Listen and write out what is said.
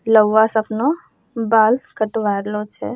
लउवा स अपनो बाल कटवाय रहलो छे।